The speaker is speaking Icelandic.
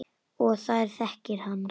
Og þær þekki hann.